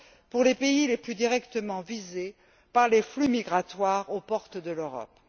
pour les pays les plus directement visés par les flux migratoires aux portes de l'Europe.